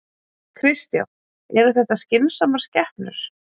Kristján: Eru þetta skynsamar skepnur?